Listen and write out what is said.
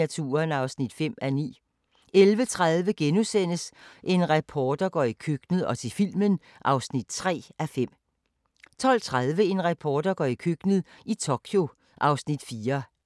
00:25: Legepladsmordet * 01:20: Lægens dødelige eksperimenter (1:3) 02:20: Deadline Nat